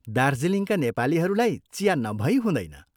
दार्जीलिङका नेपालीहरूलाई चिया नभई हुँदैन।